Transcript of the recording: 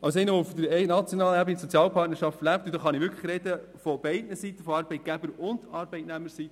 als Person, die für Sozialpartnerschaften auf nationaler Ebene lebt, und dabei spreche ich für die Arbeitnehmer- als auch die Arbeitgeberseite.